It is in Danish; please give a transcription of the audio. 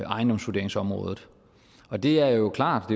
ejendomsvurderingsområdet og det er jo klart